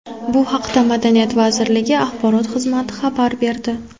Bu haqda Madaniyat vazirligi axborot xizmati xabar berdi.